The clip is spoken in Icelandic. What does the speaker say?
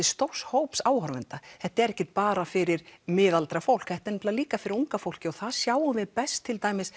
stórs hóps áhorfenda þetta er ekki bara fyrir miðaldra fólk þetta er líka fyrir unga fólkið og það sjáum við best